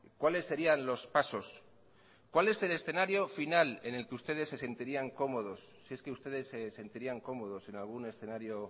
cuáles serían los pasos cuál es el escenario final en el que ustedes se sentirían cómodos si es que ustedes se sentirían cómodos en algún escenario